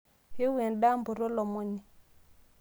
ewo endaa mpoto olomoni